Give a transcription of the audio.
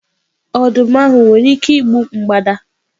Ọdụm ahụ nwere ike igbu mgbada?